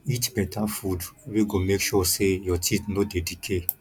eat better food wey go make sure sey your teeth no dey decay